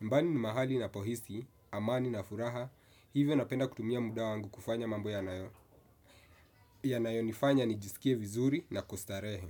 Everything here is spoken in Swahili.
Nyumbani ni mahali ninapo ishi, amani na furaha, hivyo napenda kutumia muda wangu kufanya mambo yanayo. Yanayo nifanya ni jisikie vizuri na kustarehe.